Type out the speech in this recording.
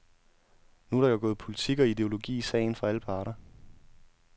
Nu er der jo gået politik og ideologi i sagen, fra alle parter.